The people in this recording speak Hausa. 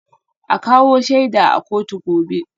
A kawo shaida a kotu gobe